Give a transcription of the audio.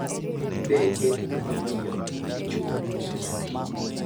Be en ng`ama miyo, dichwo koso nyathi?